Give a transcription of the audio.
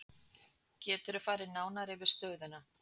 Geturðu farið nánar yfir stöðuna?